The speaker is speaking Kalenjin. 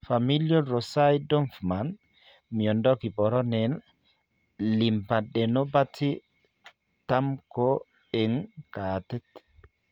Familial Rosai Dorfman miondo kiboronen lympadenopathy tamko eng' kaatit